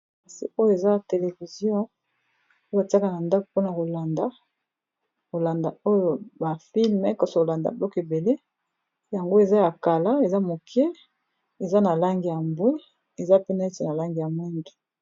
Kasi oyo eza television oyo batiaka na ndako mpona kolanda kolanda oyo ba filme kasi ko landa biloko ebele yango eza ya kala eza moke, eza na langi ya mbwe eza pe neti na langi ya mwindu.